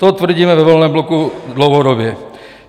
To tvrdíme ve Volném bloku dlouhodobě.